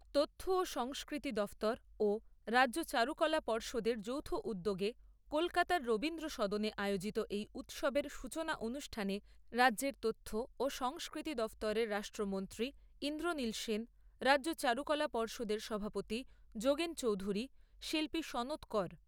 তথ্য ও সংস্কৃতি দফতর ও রাজ্য চারুকলা পর্ষদের যৌথ উদ্যোগে কলকাতার রবীন্দ্র সদনে আয়োজিত এই উৎসবের সূচনা অনুষ্ঠানে রাজ্যের তথ্য ও সংস্কৃতি দফতরের রাষ্ট্রমন্ত্রী ইন্দ্রনীল সেন, রাজ্য চারুকলা পর্ষদের সভাপতি যোগেন চৌধুরী, শিল্পী সনৎ কর।